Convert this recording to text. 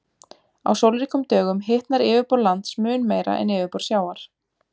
Á sólríkum dögum hitnar yfirborð lands mun meira en yfirborð sjávar.